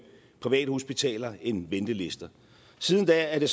privathospitaler end ventelister siden da er det